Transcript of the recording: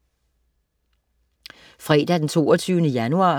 Fredag den 22. januar